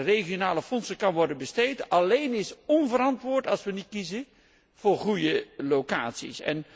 binnen de regionale fondsen kan worden besteed alleen is onverantwoord, als wij niet kiezen voor goede locaties